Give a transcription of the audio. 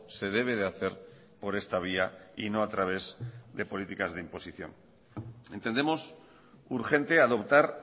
se debe de hacer por esta vía y no a través de políticas de imposición entendemos urgente adoptar